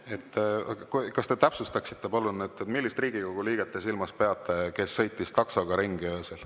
Kas te täpsustaksite palun, millist Riigikogu liiget te silmas peate, kes sõitis taksoga öösel ringi?